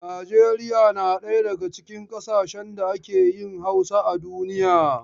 Nijeriya na daga cikin ƙasashen da ake yin Hausa a duniya.